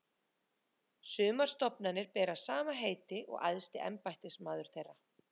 Sumar stofnanir bera sama heiti og æðsti embættismaður þeirra.